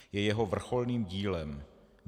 Je jeho vrcholným dílem.